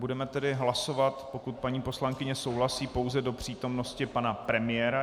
Budeme tedy hlasovat, pokud paní poslankyně souhlasí, pouze do přítomnosti pana premiéra.